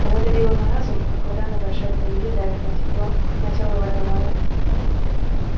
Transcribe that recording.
оно давило на разум как вода на большой глубине давит на тепло на тело водолаза